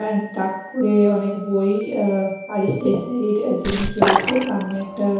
তাক করে অনেক বই আঃ আর স্টেশনারি -র জিনিস রয়েছে সামনে একটা--